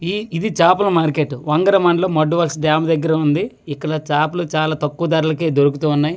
ఈ ఇది చాపల మార్కెట్ వంగరమను లో మదువలసి డ్యామ్ దెగ్గర ఉంది ఇక్కడ చాపలు తక్కువ ధారాలకే దొరుకుతు ఉన్నాయ్.